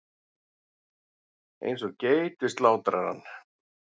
Eins og geit við slátrarann.